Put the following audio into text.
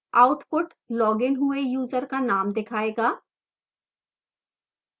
output loggedइन हुए user का name दिखाएगा